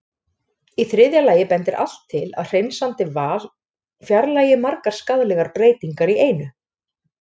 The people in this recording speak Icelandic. Í þriðja lagi bendir allt til að hreinsandi val fjarlægi margar skaðlegar breytingar í einu.